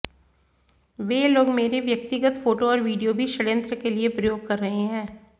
वे लोग मेरी व्यक्तिगत फोटो और विडियो भी षणयंत्र के लिए प्रयोग कर रहे हैं